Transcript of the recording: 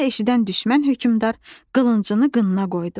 Bunu eşidən düşmən hökmdar qılıncını qınına qoydu.